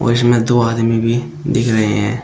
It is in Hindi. इसमें दो आदमी भी दिख रहे हैं।